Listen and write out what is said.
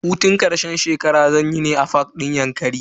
Hutun karshen shekara zanyi ne a fak din yankari.